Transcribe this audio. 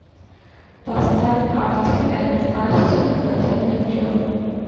поставь артик энд асти один на миллион